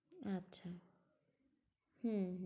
আচ্ছা। হম